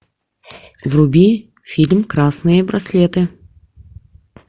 вруби фильм красные браслеты